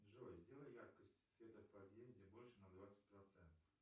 джой сделай яркость света в подъезде больше на двадцать процентов